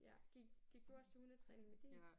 Ja. Gik gik du også til hundetræning med din?